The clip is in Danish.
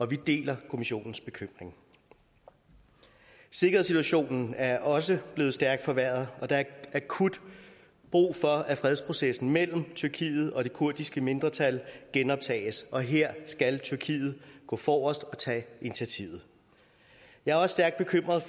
vi deler kommissionens bekymring sikkerhedssituationen er også blevet stærk forværret og der er akut brug for at fredsprocessen mellem tyrkiet og det kurdiske mindretal genoptages og her skal tyrkiet gå forrest og tage initiativet jeg er også stærk bekymret